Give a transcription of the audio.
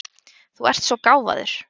Þú ert svo gáfaður!